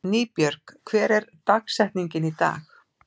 Nýbjörg, hver er dagsetningin í dag?